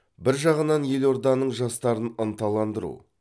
бір жағынан елорданың жастарын ынталандыру